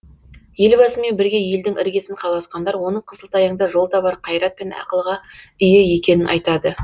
елбасымен бірге елдің іргесін қаласқандар оның қысылтаяңда жол табар қайрат пен ақылға ие екенін айтады